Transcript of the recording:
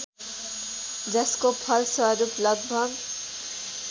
जसको फलस्वरूप लगभग